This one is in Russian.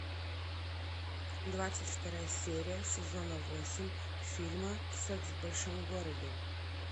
двадцать вторая серия сезона восемь фильма секс в большом городе